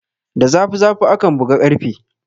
Da zafi zafi akan buga karfe